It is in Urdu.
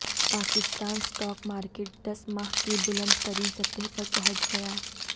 پاکستان سٹا ک مارکیٹ دس ماہ کی بلند ترین سطح پر پہنچ گئی